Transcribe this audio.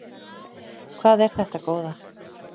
Hvað er þetta góða!